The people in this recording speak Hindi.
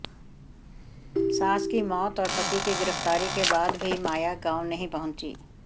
सास की मौत और पति की गिरफ्तारी के बाद भी माया गांव नहीं पहुंची